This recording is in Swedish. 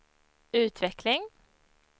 utveckling